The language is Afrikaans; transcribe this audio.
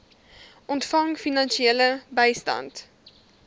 ontvang finansiële bystand